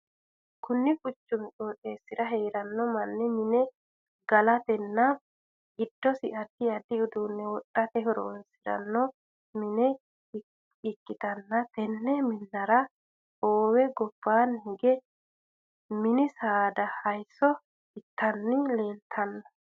Kunni quchumu qooxeesira heerano manni mi'ne galatenna gidosi addi addi uduune wodhate horoonsirano Minna ikitanna tenne minnara hoowe gobaanni hige minni saada hayiso itanni leeltano.